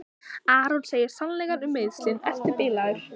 Aron segir sannleikann um meiðslin: Ertu bilaður?